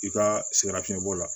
I ka sɛgɛnnafiɲɛbɔ la